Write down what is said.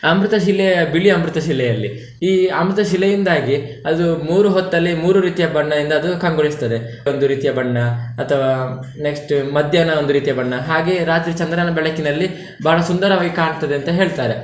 ಅಮೃತಶಿಲೆಯ ಬಿಳಿ ಅಮೃತಶಿಲೆಯಲ್ಲಿ, ಈ ಅಮೃತ ಶಿಲೆಯಿಂದಾಗಿ ಅದು ಮೂರು ಹೊತ್ತಲ್ಲಿ ಮೂರು ರೀತಿಯ ಬಣ್ಣದಿಂದ ಅದು ಕಂಗೊಳಿಸ್ತದೆ. ಒಂದು ರೀತಿಯ ಬಣ್ಣ ಅಥವಾ next ಮಧ್ಯಾಹ್ನ ಒಂದು ರೀತಿಯ ಬಣ್ಣ, ಹಾಗೆ ರಾತ್ರಿ ಚಂದ್ರನ ಬೆಳಕಿನಲ್ಲಿ ಬಾಳ ಸುಂದರವಾಗಿ ಕಾಣ್ತದೆ ಅಂತ ಹೇಳ್ತಾರೆ.